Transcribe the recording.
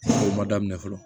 O ma daminɛ fɔlɔ